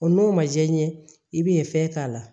O n'o ma diya i ɲɛ i ben'e fɛn k'a la